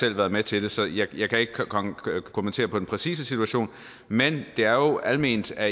selv været med til det så jeg kan ikke kommentere den præcise situation men det er jo alment at